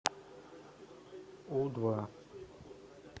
у два